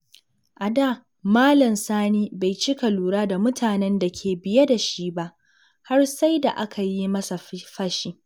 A da, Malam Sani bai cika lura da mutanen da ke biye da shi ba, har sai da aka yi masa fashi.